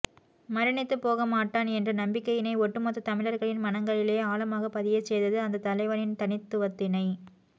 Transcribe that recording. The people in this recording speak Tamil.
மரணித்துப்போகமாட்டான் என்ற நம்பிக்கையினை ஒட்டுமொத்த தமிழர்களின் மனங்களிலே ஆழமாக பதியச்செய்தது அந்த தலைவனின் தனித்துவத்தினை